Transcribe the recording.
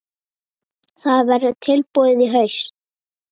Það verður tilbúið í haust.